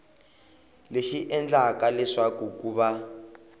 lexi endlaka leswaku ku va